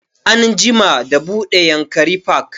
An jima da buɗe yankari park